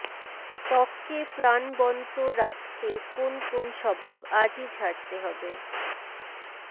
ত্বককে প্রাণবনত রাখতে কোন কোন স্বভাব আজই ছাড়তে হবে